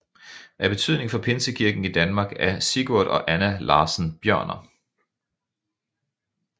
Af betydning for pinsekirken i Danmark er Sigurd og Anna Larssen Bjørner